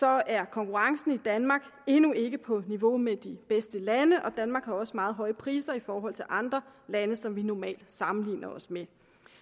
er konkurrencen i danmark endnu ikke på niveau med de bedste lande og danmark har også meget høje priser i forhold til andre lande som vi normalt sammenligner os med